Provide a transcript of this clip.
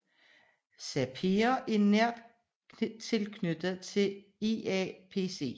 SAPERE er nært knyttet til IAPC